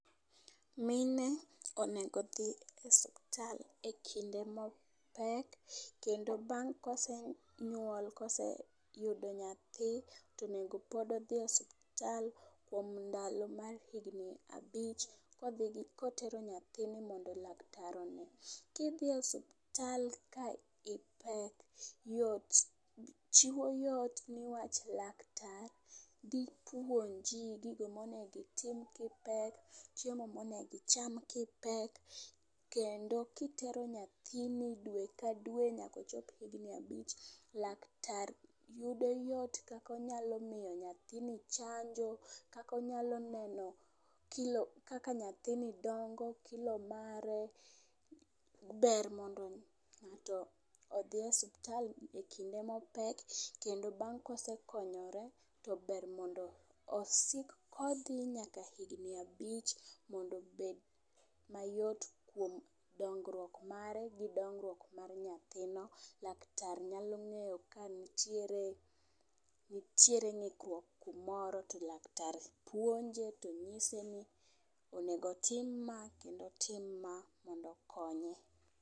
Mine onego odhi e osiptal ekinde ma opek kendo bang kosenyuol, koseyudo nyathi tonego pod odhi osiptal kuom ndalo mar higni abich, kodhi, kotero nyathini mondo laktar one. Kidhi osiptal ka ipek, yot, chiwo yot nimar laktar dhi puonji gigo mowinjo itim ka ipek, chiemo ma onego icham ka ipek kendo kitero nyahini dwe ka dwe nyaka ochop higni abich, laktrar yudo yot kaka onyalo miyo nyathini chanjo, kaka onyalo neno kilo, kaka nyathini dongo kilo mare, ber mondo ngato odhi e osiptal kind ema opek kendo bang ka osekonyre to ber mondo osik kodhi nyaka higni abich mondo obed mayot kuom dongruok mare gi dongruok mar nyathino. Laktar nyalo ngeyo ka nitiere, nitiere ngikruok kumoro to laktar puonje to nyiseni onego otim ma kendo otim ma mondo okonye.